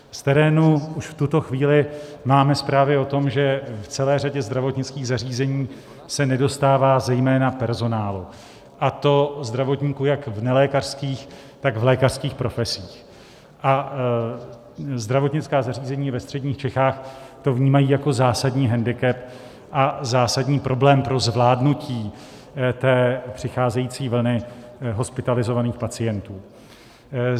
Z terénu už v tuto chvíli máme zprávy o tom, že v celé řadě zdravotnických zařízení se nedostává zejména personálu, a to zdravotníků jak v nelékařských, tak v lékařských profesích, a zdravotnická zařízení ve středních Čechách to vnímají jako zásadní hendikep a zásadní problém pro zvládnutí té přicházející vlny hospitalizovaných pacientů.